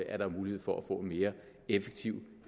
er mulighed for at få en mere effektiv